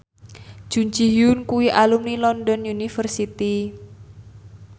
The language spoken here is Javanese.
Jun Ji Hyun kuwi alumni London University